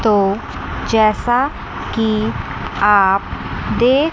तो जैसा कि आप देख--